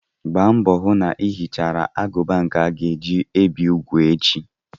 Gba mbọ hụ na ị hichara agụba nke a ga-eji bi úgwù echi!